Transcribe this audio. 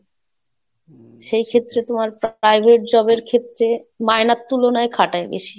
সেই ক্ষেত্রে তোমার Private job এর ক্ষেত্রে মাইনের তুলনায় খাটায় বেশি।